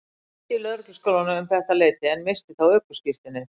Ég kenndi í Lögregluskólanum um þetta leyti en missti þá ökuskírteinið.